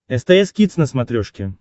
стс кидс на смотрешке